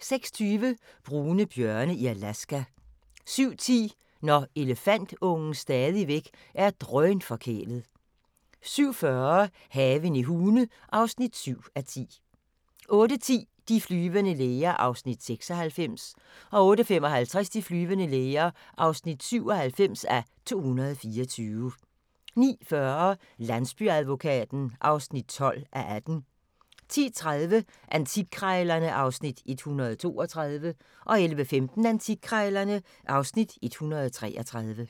06:20: Brune bjørne i Alaska 07:10: Når elefantungen stadigvæk er drønforkælet 07:40: Haven i Hune (7:10) 08:10: De flyvende læger (96:224) 08:55: De flyvende læger (97:224) 09:40: Landsbyadvokaten (12:18) 10:30: Antikkrejlerne (Afs. 132) 11:15: Antikkrejlerne (Afs. 133)